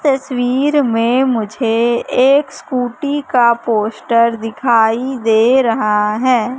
तस्वीर में मुझे एक स्कूटी का पोस्टर दिखाई दे रहा हैं।